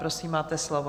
Prosím, máte slovo.